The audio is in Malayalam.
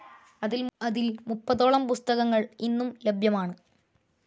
അതിൽ മുപ്പതോളം പുസ്തകങ്ങൾ ഇന്നും ലഭ്യമാണ്.